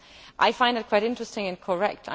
I find that quite interesting and correct.